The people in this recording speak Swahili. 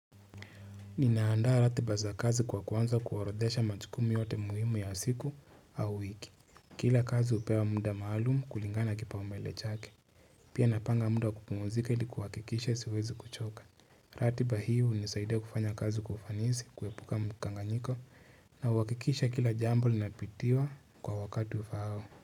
Nimeandaa ratiba za kazi kwa kuanza kuwarodhesha majukumu yote muhimu ya siku au wiki. Kila kazi upewa munda maalumu kulingana kipa umbele chake. Pia napanga muda wa kupumuzika ili kuwakikisha siwezi kuchoka. Ratiba hiyo hunisaidia kufanya kazi kwa ufanisi, kuepuka mkanganyiko na huwakikisha kila jambo linapitiwa kwa wakati ufaao.